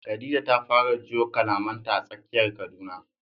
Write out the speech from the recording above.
Khadija ta fara jiyo kalamanta a tsakiyar Kaduna.